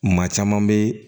Maa caman bɛ